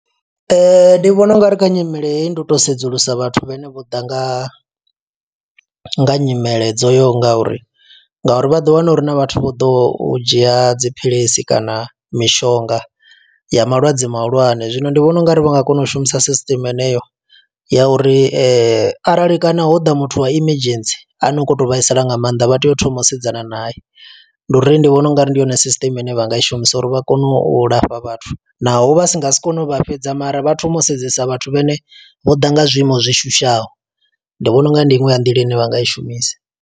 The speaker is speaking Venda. Ndi vhona ungari kha nyimele heyi ndi u to sedzulusa vhathu vhene vho ḓa nga, nga nyimele dzo yaho nga uri. Nga uri vha ḓo wana uri huna vhathu vho ḓoho u dzhia dziphilisi kana mishonga ya malwadze mahulwane. Zwino ndi vhona ungari vha nga kona u shumisa system yeneyo ya uri , arali kana ho ḓa muthu wa emergency ano kho to vhaisala nga maanḓa. Vha tea u thoma u sedzana nae, ndi uri ndi vhona ungari ndi yone sisteme ine vha nga i shumisa uri vha kone u lafha vhathu. Naho vha si nga si kone u vha fhedza, mara vha thoma u sedzesa vhathu vhane vho ḓa nga zwiiimo zwi shushaho. Ndi vhona unga ndi inwe ya nḓila ine vha nga i shumisa.